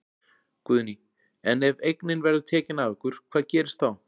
Guðný: En ef að eignin verður tekin af ykkur hvað gerist þá?